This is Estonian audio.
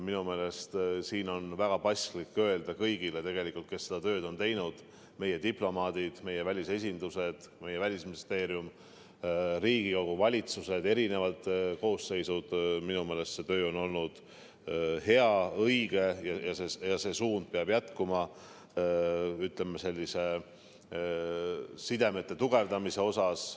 Minu meelest siin on väga paslik öelda kõigile, kes seda tööd on teinud – meie diplomaadid, meie välisesindused, meie Välisministeerium, Riigikogu ja valitsuse eri koosseisud –, et see töö on olnud hea ja õige ning see suund peab jätkuma, ütleme, sidemete tugevdamise mõttes.